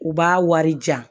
U b'a wari jan